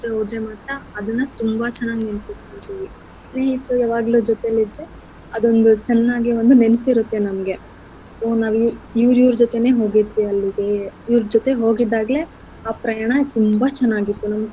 ಜೊತೆ ಹೋದ್ರೆ ಮಾತ್ರ ಅದನ್ನ ತುಂಬ ಚೆನ್ನಾಗಿ ನೆನ್ಪಿಟ್ಕೋತೀವಿ. ಜೊತೆಲಿದ್ರೆ ಅದೊಂದು ಚೆನ್ನಾಗಿ ಒಂದು ನೆನ್ಪಿರತ್ತೆ ನಮ್ಗೆ ಓ ನಾವು ಇ~ ಇವ್ರ್ ಇವ್ರ್ ಜೊತೆನೆ ಹೋಗಿದ್ವಿ ಅಲ್ಲಿಗೆ ಇವ್ರ್ ಜೊತೆ ಹೋಗಿದ್ದಾಗ್ಲೆ ಆ ಪ್ರಯಾಣ ತುಂಬಾ ಚೆನ್ನಾಗಿತ್ತು.